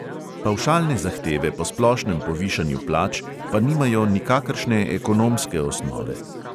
Pavšalne zahteve po splošnem povišanju plač pa nimajo nikakršne ekonomske osnove.